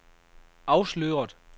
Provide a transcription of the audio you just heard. afsløret